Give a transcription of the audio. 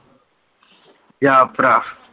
ਜਾ ਭਰਾ